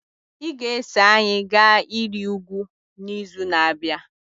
Ị ga-eso anyị gaa ịrị ugwu n'izu na-abịa.